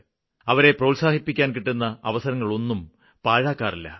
അവരെ പ്രോത്സാഹിപ്പിക്കാന് കിട്ടുന്ന അവസരങ്ങളൊന്നും പാഴാക്കാറില്ല